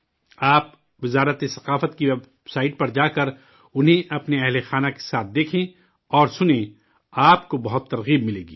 آپ، وزارت ثقافت کی ویب سائٹ پر جا کر انہیں اپنی فیملی کے ساتھ دیکھیں اور سنیں آپ کو بہت ترغیب ملے گی